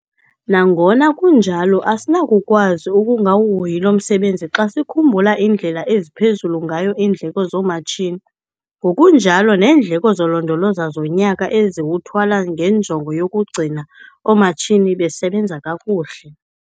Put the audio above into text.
NANGONA KUNJALO, ASINAKUKWAZI UKUNGAWUHOYI LO MSEBENZI XA SIKHUMBULA INDLELA EZIPHEZULU NGAYO IINDLEKO ZOOMATSHINI, NGOKUNJALO NEENDLEKO ZOLONDOLOZA ZONYAKA ESIZITHWALA NGENJONGO YOKUGCINA OOMATSHINI BESEBENZA KAKUHLE.